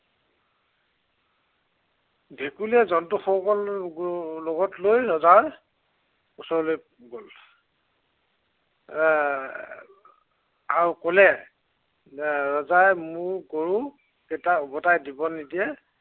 ভেকুলীয়ে জন্তুসকলক লগত লৈ ৰজাৰ ওচৰলৈ গল। এৰ আৰু কলে, যে ৰজাই মোৰ গৰু কেইটা উভটাই দিব নিদিয়ে